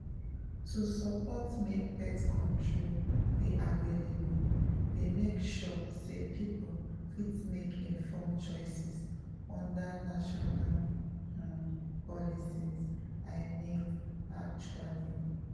to support make birth control dey available dey make sure say people fit make informed choice under national um policies i mean actually.